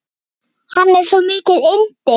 Hann er svo mikið yndi.